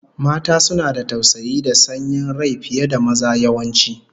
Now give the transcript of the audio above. Mata suna da tausayi da sanyin rai fiye da maza, yawanci